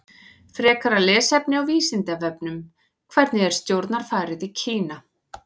Frekara lesefni á Vísindavefnum: Hvernig er stjórnarfarið í Kína?